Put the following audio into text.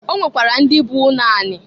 O nwekwara ndị bụ ụnọ anị.